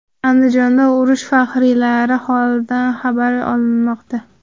Andijonda urush faxriylari holidan xabar olinmoqda .